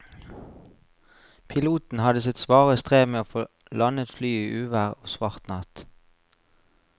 Piloten hadde sitt svare strev med å få landet flyet i uvær og svart natt.